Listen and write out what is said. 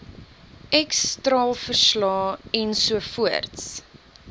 x straalverslae ensovoorts